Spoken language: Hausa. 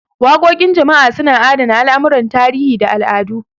Waƙoƙin jama'a suna adana al'amuran tarihi da al'adu.